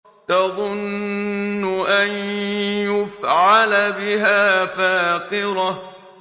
تَظُنُّ أَن يُفْعَلَ بِهَا فَاقِرَةٌ